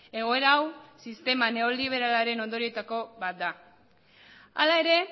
egoera hau sistema neoliberalaren ondorioetako bat da hala ere